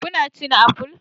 Kuna cin apple?